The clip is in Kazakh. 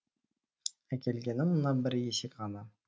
әкелгенім мына бір есек ғана